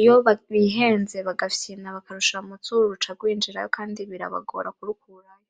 iyo bihenze bagafyina bakarushira munzuru ruca rwinjirayo kandi birabagora mukurukurayo.